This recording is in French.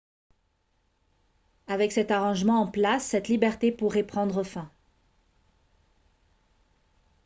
avec cet arrangement en place cette liberté pourrait prendre fin